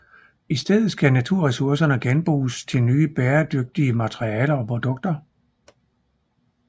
I stedet skal naturressourcerne genbruges til nye bæredygtige materialer og produkter